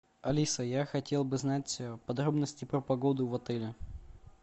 алиса я хотел бы знать подробности про погоду в отеле